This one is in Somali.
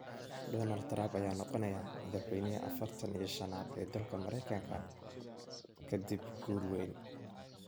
Donald Trump ayaa noqonaya madaxweynihii afartan iyo shanaad ee dalka Mareykanka kadib guul weyn.